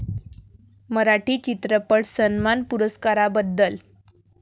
मराठी चित्रपट सन्मान पुरस्काराबद्दल